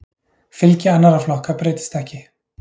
Fylgi annarra flokka breytist ekki.